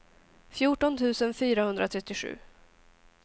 fjorton tusen fyrahundratrettiosju